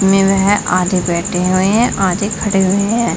पे आधे बैठे हुए है आधे खड़े हुए है।